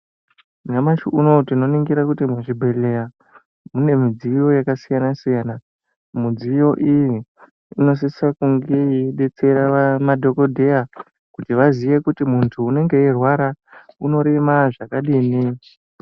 Nyamashi unowu tino ningira kuti mu zvibhedhleya mune mudziyo yaka siyana siyana mudziyo iyi inosisira kunge yei detsera madhokodheya kuti vaziye kuti muntu unenge eyi rwara unorema zvakadini.